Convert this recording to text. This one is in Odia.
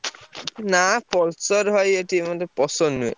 ନା Pulsar ଭାଇ ଏଠି ମତେ ପସନ୍ଦ ନୁହେଁ।